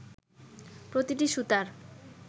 প্রতিটি সুতার